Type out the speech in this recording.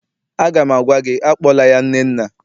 Aga m agwa gị, akpọla ya Nnenna!